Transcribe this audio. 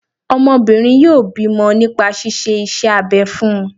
Ọmọbìnrin yọ bímọ nípa ṣíṣe iṣẹ́ abẹ fún un